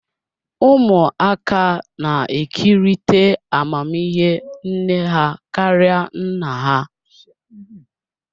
Ụmụaka na-ekerịta amamihe nne ha karịa nna ha